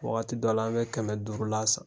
Wagati dɔw la an bɛ kɛmɛ duurula san.